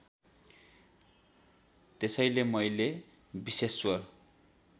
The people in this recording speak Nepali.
त्यसैले मैले विश्वेश्वर